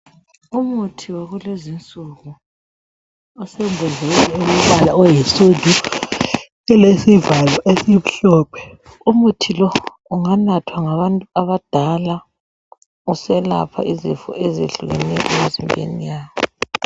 Umuthi wakulezinsuku, usembodleleni olombala oyinsundu ulesivalo esimhlophe. Umuthi lo unganathwa ngabantu abadala uselapha izifo ezehlukeneyo.